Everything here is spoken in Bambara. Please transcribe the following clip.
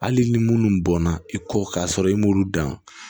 Hali ni munnu bɔnna i kɔ k'a sɔrɔ i m'olu dan